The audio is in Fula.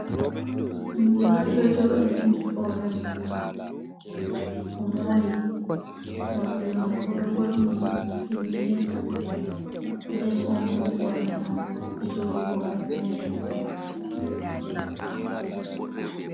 Ɓinngel on ɗo jooɗi nangi hore mum o mori morɗi mako, oɗo ɓorni limese les on boo oɓorni o joɗi hore mere.